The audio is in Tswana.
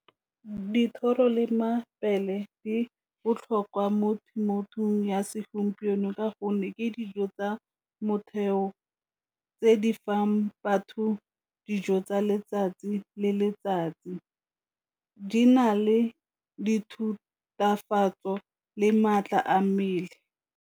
Dithoro le mabele di botlhokwa mo temothuong ya segompieno, ka gonne ke dijo tsa motheo tse di fang batho dijo tsa letsatsi le letsatsi di na le di thutafatso go le maatla a mmele.